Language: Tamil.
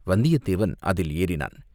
வந்தியத்தேவன் அதில் ஏறினான்.